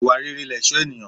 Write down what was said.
Ìwà rere lẹ̀ṣọ́ ènìyàn.